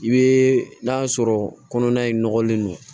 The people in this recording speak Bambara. I bɛ n'a sɔrɔ kɔnɔna in nɔgɔlen don